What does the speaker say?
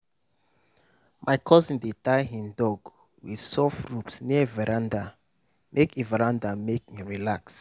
my cousin dey tie him dog with soft rope near veranda make e veranda make e relax.